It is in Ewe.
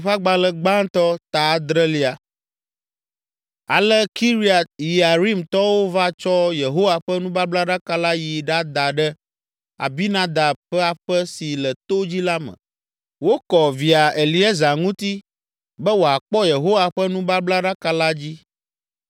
Ale Kiriat Yearimtɔwo va tsɔ Yehowa ƒe nubablaɖaka la yi ɖada ɖe Abinadab ƒe aƒe si le to dzi la me. Wokɔ via, Eleazar, ŋuti be wòakpɔ Yehowa ƒe nubablaɖaka la dzi.